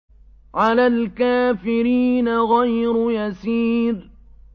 عَلَى الْكَافِرِينَ غَيْرُ يَسِيرٍ